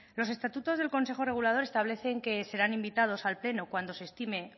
los estatutos del consejo regulador establecen que serán invitados al pleno cuando se estime